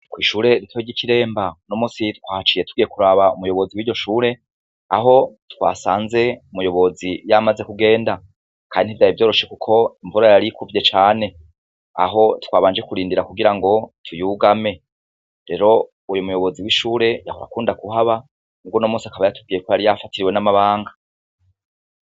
Kw'ishure rito ry'i Kiremba, numusi twahaciye tugiye kuraba umuyobozi w'iryo shure Aho twasanze umuyobozi yamaze kugenda, kandi ntivyari vyoroshe kuko imvura yarikuvye cane, aho twabanje kurindira kugirango tuyugame, rero uwo muyobozi w'ishure yahora akunda kuhaba, muga unomunsi akaba yatubwiye ko yafatiriwe n'amabanga.